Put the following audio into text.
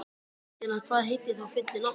Dýrfinna, hvað heitir þú fullu nafni?